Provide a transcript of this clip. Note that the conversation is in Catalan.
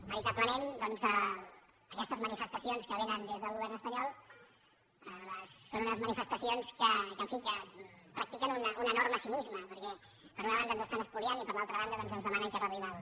veritablement doncs aquestes manifestacions que vénen des del govern espanyol són unes manifestacions que en fi practiquen un enorme cinisme perquè per una banda ens estan espoliant i per l’altra banda doncs ens demanen que reduïm el